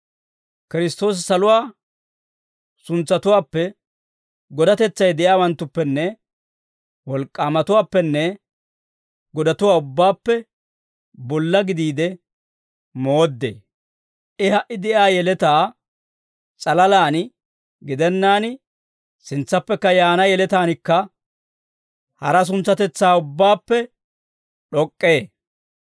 Kiristtoosi saluwaa suntsatuwaappe, godatetsay de'iyaawanttuppe, wolk'k'aamatuwaappenne godatuwaa ubbaappe bolla gidiide mooddee; I ha"i de'iyaa yeletaa s'alalaan gidennaan, sintsaappe yaana yeletaanikka hara suntsatetsaa ubbaappe d'ok'k'ee.